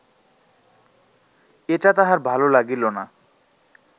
এটা তাহার ভাল লাগিল না